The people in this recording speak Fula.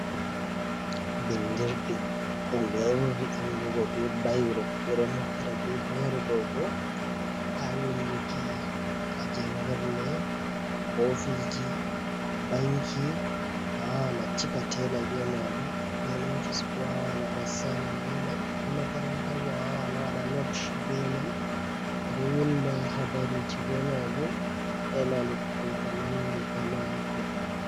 Bindirɗi ɗum ɓe ɓurdi andugo be bairo. Ɓe ɗo naftira be bairo ɗo bo haa winduki ha jangirle, ofisji, banki, awawan a cika tela be majum. Nden ofis bo wawan a waɗa sainin be man. Haa makarantabo awawan a waɗa not be man. Ɗo winda habaruji be majum, e na luttuɗum ko nandi e majum.